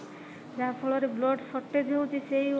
ଯାହା ଫଳରେ blood shortage ହଉଛି ସେଇ